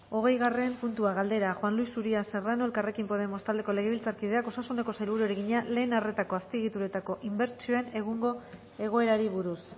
hogeigarren puntua galdera juan luis uria serrano elkarrekin podemos taldeko legebiltzarkideak osasuneko sailburuari egina lehen arretako azpiegituretako inbertsioen egungo egoerari buruz